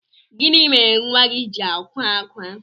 gini mere nwa gi ji akwa akwa?